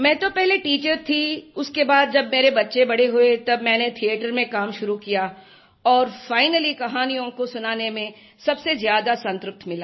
मैं तो पहले टीचर थी उसके बाद जब मेरे बच्चे बड़े हुए तब मैंने थिएटर में काम शुरू किया और फाइनली कहानियों को सुनाने में सबसे ज्यादा संतृप्ति मिला